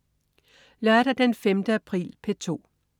Lørdag den 5. april - P2: